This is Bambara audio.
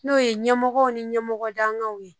N'o ye ɲɛmɔgɔw ni ɲɛmɔgɔ dankanw ye